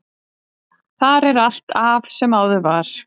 Þar er allt af sem áður var.